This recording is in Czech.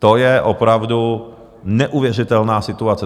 To je opravdu neuvěřitelná situace.